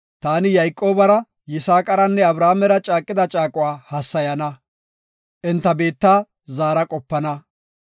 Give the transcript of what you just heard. Taani Yayqoobara, Yisaaqaranne Abrahaamera caaqida caaquwa hassayana; enta biitta zaara qopana.